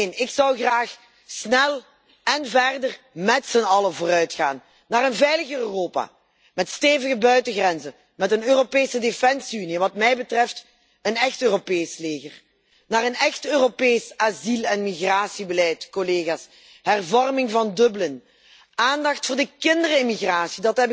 Neen, ik zou graag snel en verder met z'n allen vooruitgaan, naar een veiliger Europa, met stevige buitengrenzen, met een Europese defensie unie, wat mij betreft een echt Europees leger, naar een echt Europees asiel en migratiebeleid, collega's, de hervorming van Dublin, aandacht voor de kinderimmigratie.